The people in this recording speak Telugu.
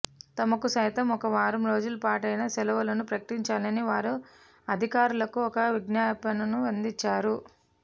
తమకు సైతం ఒక వారం రోజులపాటైనా సెలవులను ప్రకటించాలని వారు అధికారులకు ఒక విఙ్ఞాపణను అందించారు